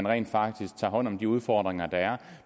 rent faktisk tager hånd om de udfordringer der er